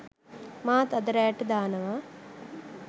මාත් අද රෑට දානවා